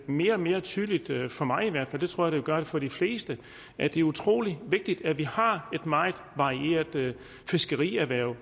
mere og mere tydeligt for mig i hvert fald det tror jeg det gør for de fleste at det er utrolig vigtigt at vi har et meget varieret fiskerierhverv